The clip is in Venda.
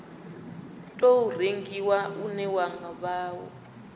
tou rengiwa une wa vha